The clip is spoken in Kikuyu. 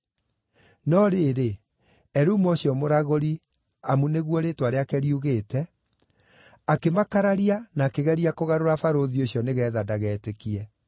No rĩrĩ, Elumo ũcio mũragũri (amu ũguo nĩguo rĩĩtwa rĩake riugĩte) akĩmakararia na akĩgeria kũgarũra barũthi ũcio nĩgeetha ndagetĩkie.